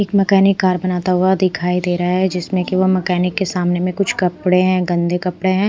एक mechanic car बनाता हुआ दिखाई दे रहा है जिसमें केवल मैकेनिक के सामने मे कुछ कपड़े है गंदे कपड़े है।